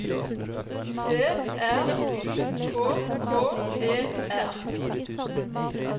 T R Y K K E R